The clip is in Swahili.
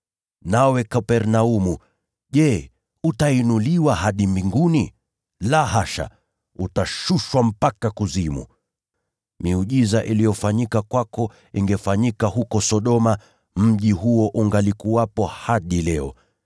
Nawe Kapernaumu, je, utainuliwa hadi mbinguni? La hasha, utashushwa mpaka kuzimu. Miujiza iliyofanyika kwako ingefanyika huko Sodoma, mji huo ungalikuwepo hadi leo.